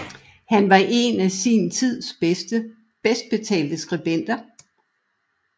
Han var en af sin tids bedst betalte skribenter